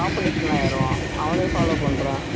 competition லாம் வருவான் அவனையும் follow பண்றேன்